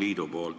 liidu märkusest.